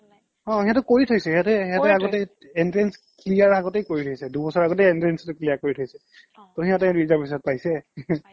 অ সিহতে কৰি থৈছে সিহতে সিহতে কৰি থয় সিহতে আগতে entrance clear আগতে কৰি থৈছে দুবছৰ আগতে entrance টো clear কৰি থৈছে অ সিহতেটো reservation ত পাইছে